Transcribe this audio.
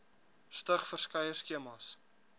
stig verskeie skemas